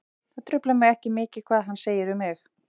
Það truflar mig ekki mikið hvað hann segir um mig.